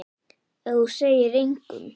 Ef þú segir engum.